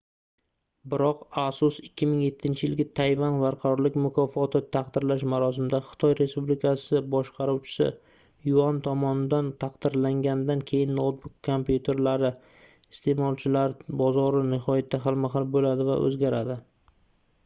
biroq asus 2007-yilgi tayvan barqarorlik mukofoti taqdirlash marosimida xitoy respublikasi boshqaruvchisi yuan tomonidan taqdirlanganidan keyin noutbuk kompyuterlari isteʼmolchilari bozori nihoyatda xilma-xil boʻladi va oʻzgaradi